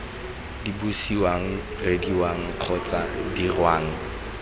se buisiwang reediwang kgotsa dirwang